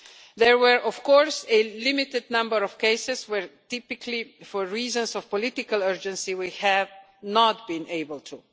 There were, of course, a limited number of cases where, typically for reasons of political urgency, we have not been able to.